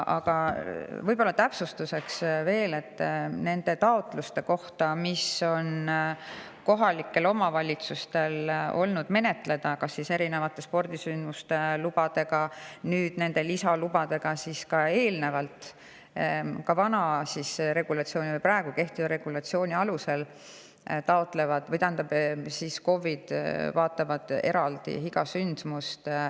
Aga täpsustuseks veel, et mis puudutab taotlusi, mida kohalikud omavalitsused on pidanud menetlema seoses erinevate spordisündmuste lubadega – ja nüüd tulevad veel lisaload –, siis ka vana regulatsiooni, praegu kehtiva regulatsiooni kohaselt KOV-id vaatavad eraldi iga sündmust.